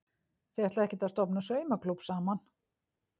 Þið ætlið ekkert að stofna saumaklúbb saman?